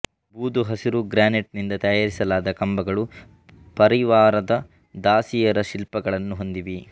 ಬೂದುಹಸಿರು granite ನಿಂದ ತಯಾರಿಸಲಾದ ಕಂಬಗಳು ಪರಿವಾರದ ದಾಸಿಯರ ಶಿಲ್ಪಗಳನ್ನು ಹೊಂದಿವೆ